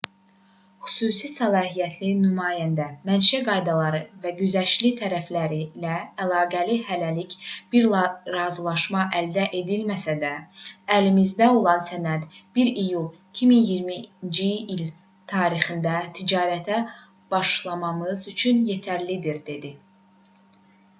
xüsusi səlahiyyətli nümayəndə mənşə qaydaları və güzəştli tariflərlə əlaqəli hələlik bir razılaşma əldə edilməsə də əlimizdə olan sənəd 1 iyul 2020-ci il tarixində ticarətə başlamamız üçün yetərlidir dedi